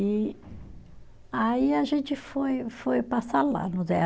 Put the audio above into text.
E aí a gente foi foi passar lá no Zé.